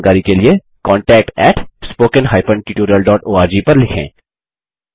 अधिक जानकारी के लिए contactspoken tutorialorg पर लिखें